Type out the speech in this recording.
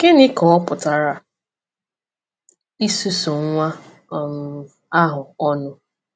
Gịnị ka ọ pụtara “ịsusu nwa um ahụ ọnụ”?